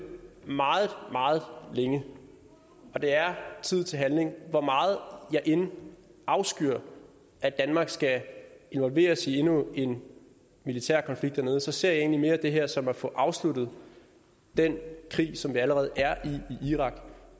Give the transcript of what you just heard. meget meget længe og det er tid til handling hvor meget jeg end afskyr at danmark skal involveres i endnu en militær konflikt dernede ser jeg egentlig mere det her som at få afsluttet den krig som vi allerede er i i irak